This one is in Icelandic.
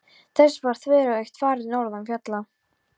Þessu var þveröfugt farið norðan fjalla.